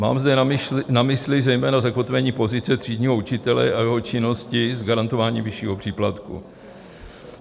Mám zde na mysli zejména zakotvení pozice třídního učitele a jeho činnosti s garantováním vyššího příplatku.